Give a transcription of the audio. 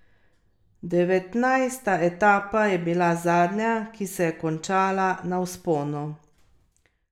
Devetnajsta etapa je bila zadnja, ki se je končala na vzponu.